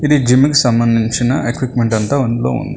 ఇది జిమ్ముకి సంబంధించిన ఎక్విప్మెంట్ అంతా అందులో ఉంది.